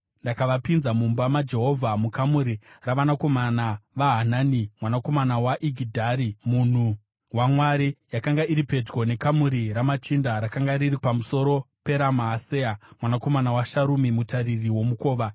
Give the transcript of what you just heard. Ndakavapinza mumba maJehovha, mukamuri ravanakomana vaHanani mwanakomana waIgidharia munhu waMwari. Yakanga iri pedyo nekamuri ramachinda, rakanga riri pamusoro peraMaaseya mwanakomana waSharumi, mutariri womukova.